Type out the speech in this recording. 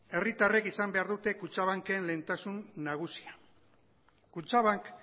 herritarrek izan behar dute kutxabanken lehentasun nagusia kutxabank